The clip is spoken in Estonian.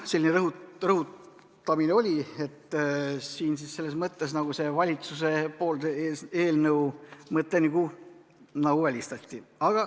Siin selles mõttes valitsuse eelnõu mõte nagu välistati.